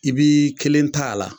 I b'i kelen ta a la.